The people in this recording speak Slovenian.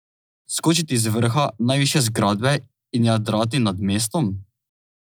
Skočiti z vrha najvišje zgradbe in jadrati nad mestom?